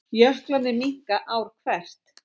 Jöklarnir minnka ár hvert